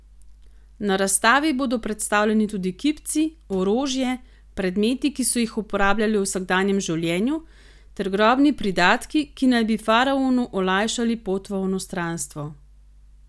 Na razstavi bodo predstavljeni tudi kipci, orožje, predmeti, ki so jih uporabljali v vsakdanjem življenju, ter grobni pridatki, ki naj bi faraonu olajšali pot v onostranstvo.